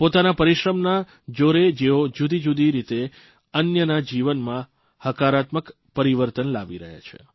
પોતાના પરિશ્રમના જોરે જેઓ જુદીજુદી રીતે અન્યના જીવનમાં હકારાત્મક પરિવર્તન લાવી રહ્યા છે